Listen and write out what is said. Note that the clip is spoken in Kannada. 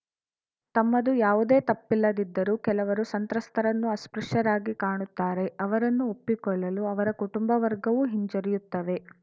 ತಮ್ಮದು ಯಾವುದೇ ತಪ್ಪಿಲ್ಲದಿದ್ದರೂ ಕೆಲವರು ಸಂತ್ರಸ್ತರನ್ನು ಅಸ್ಪೃಶ್ಯರಾಗಿ ಕಾಣುತ್ತಾರೆ ಅವರನ್ನು ಒಪ್ಪಿಕೊಳ್ಳಲು ಅವರ ಕುಟುಂಬ ವರ್ಗವೂ ಹಿಂಜರಿಯುತ್ತವೆ